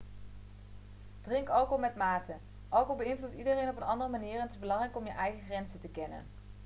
drink alcohol met mate alcohol beïnvloedt iedereen op een andere manier en het is belangrijk om je eigen grenzen te kennen